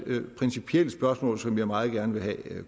principielle spørgsmål som jeg meget gerne vil have